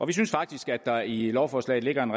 vi synes faktisk at der i lovforslaget ligger en